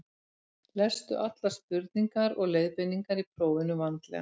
lestu allar spurningar og leiðbeiningar í prófinu vandlega